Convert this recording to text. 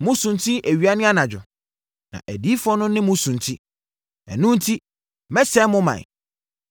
Mosunti awia ne anadwo, na adiyifoɔ no ne mo sunti. Ɛno enti mɛsɛe mo ɔman.